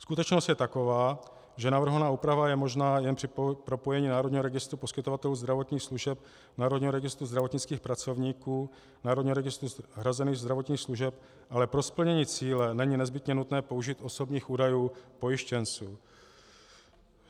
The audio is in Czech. Skutečnost je taková, že navrhovaná úprava je možná jen při propojení Národního registru poskytovatelů zdravotních služeb, Národního registru zdravotnických pracovníků, Národního registru hrazených zdravotních služeb, ale pro splnění cíle není nezbytně nutné použít osobních údajů pojištěnců.